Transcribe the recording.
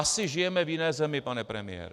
Asi žijeme v jiné zemi, pane premiére.